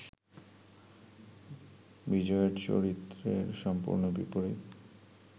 বিজয়ের চরিত্রের সম্পূর্ণ বিপরীত